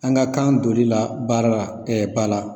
An ka kan donli la baara la ba la